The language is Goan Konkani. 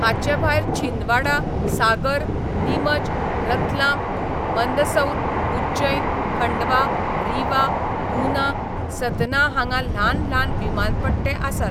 हाचेभायर छिंदवाडा, सागर, नीमच, रतलाम, मंदसौर, उज्जैन, खंडवा, रीवा, गुना, सतना हांगा ल्हान ल्हान विमानपट्टे आसात.